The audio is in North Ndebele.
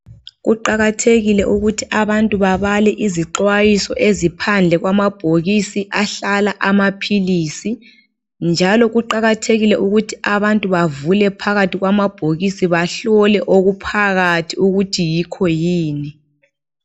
Kuqakathekile. ukuthi abantu babale izixwayiso eziphandle kwamabhokisi ahlala amaphilisi, njalo kuqakathekile ukuthi abantu bavule phakathi kwamabhokisi bahlole okuphakathi ukuthi yikho yini.